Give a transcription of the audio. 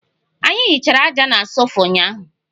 Anyi hichara aja na sofa ụnyahụ